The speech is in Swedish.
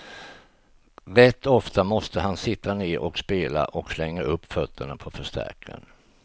Rätt ofta måste han sitta ner och spela och slänger upp fötterna på förstärkaren.